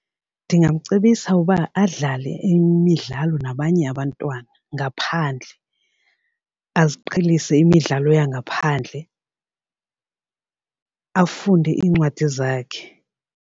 Ndingamcebisa uba adlale imidlalo nabanye abantwana ngaphandle aziqhelise imidlalo yangaphandle afunde iincwadi zakhe.